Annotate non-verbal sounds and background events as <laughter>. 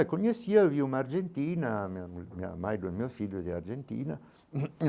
Eu conhecia, vi uma argentina, a minha <unintelligible> a mãe dos meus filhos é Argentina.